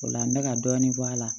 O la n bɛ ka dɔɔnin bɔ a la